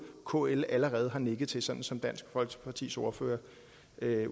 kl allerede har nikket til sådan som dansk folkepartis ordfører